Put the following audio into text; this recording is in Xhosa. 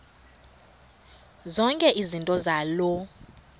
zonke izinto zaloo